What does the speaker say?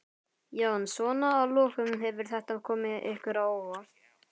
Jón: Svona að lokum, hefur þetta komið ykkur á óvart?